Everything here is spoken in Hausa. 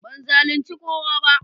Ban zalunci kowa ba.